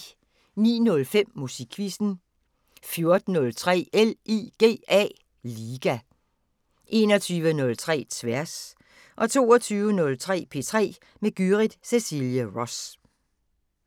09:05: Musikquizzen 14:03: LIGA 21:03: Tværs 22:03: P3 med Gyrith Cecilie Ross